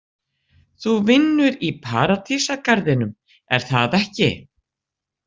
Þú vinnur í Paradísargarðinum, er það ekki?